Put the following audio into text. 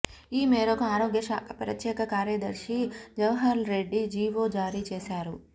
ఈ మేరకు ఆరోగ్యశాఖ ప్రత్యేక కార్యదర్శి జవహర్ రెడ్డి జీవో జారీ చేశారు